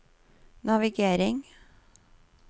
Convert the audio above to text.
navigering